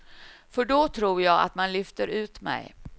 För då tror jag att man lyfter ut mig.